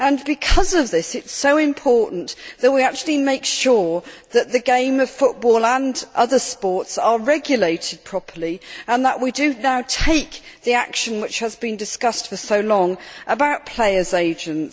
Because of this, it is so important that we actually make sure that the game of football and other sports are regulated properly and that we do now take the action which has been discussed for so long about players' agents.